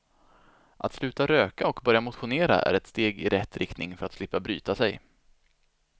Att sluta röka och börja motionera är ett steg i rätt rikting för att slippa bryta sig.